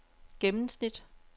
gennemsnit